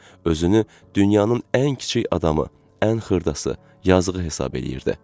Özünü dünyanın ən kiçik adamı, ən xırdası, yazığı hesab eləyirdi.